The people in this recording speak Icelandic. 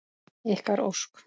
Ykkar Ósk.